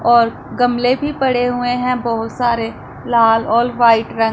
और गमले भी पड़े हुए हैं बहुत सारे लाल और व्हाइट रंग--